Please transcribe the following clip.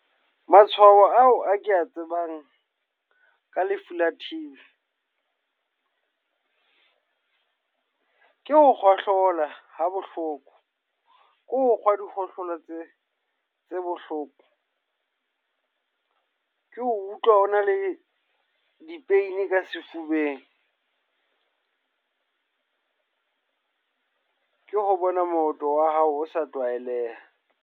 Matshwao ao a ke a tsebang ka lefu la T_B ke ho kgohlola ha bohloko. Ke hokgwa dikgohlola tse tse bohloko. Ke utlwa ho na le di-pain ka sefubeng. Ke ho bona moroto wa hao o sa tlwaeleha.